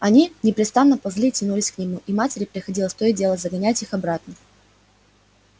они непрестанно ползли и тянулись к нему и матери приходилось то и дело загонять их обратно